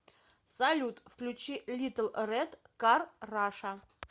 салют включи литл рэд кар раша